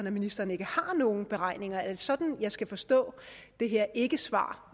at ministeren ikke har nogen beregninger af det sådan jeg skal forstå det her ikkesvar